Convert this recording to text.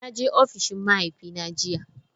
Na je ofishin mahaifina jiya.